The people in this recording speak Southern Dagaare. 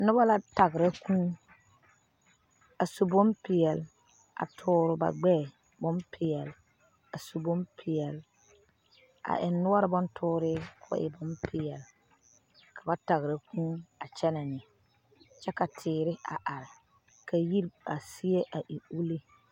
Noba la tagera kʋʋ kaa a su bonpɛɛle a tɔɔre ba gbɛɛ. bon pɛɛle a eŋe noɔre bon tɔɔr ka kɔɔ e bonpɛɛle ka ba tagera kuu a kyɛne neŋ kyɛ ka teere a are ka yiri seɛ e ulluu.